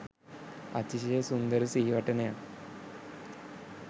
අතිශය සුන්දර සිහිවටනයක්